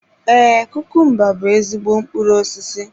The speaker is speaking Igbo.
Ee, kukumba bú ezigbo mkpụrụ osisi.